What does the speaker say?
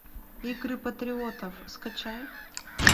игры патриотов скачай